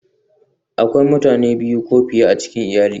Akwai mutane biyu ko fiye a cikin iyali